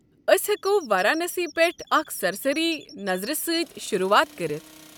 أسۍ ہٮ۪کو وارانسی پٮ۪ٹھ اکہ سرسری نظر سۭتۍ شروٗعات کٔرتھ۔